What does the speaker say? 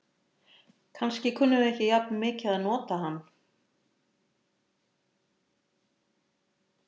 Kannski kunnum við ekki jafn mikið að nota hann.